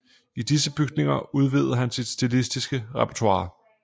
I disse bygninger udvidede han sit stilistiske repertoire